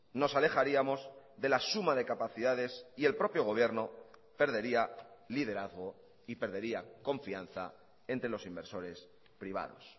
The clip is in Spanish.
nos alejaríamos de la suma de capacidades y el propio gobierno perdería liderazgo y perdería confianza entre los inversores privados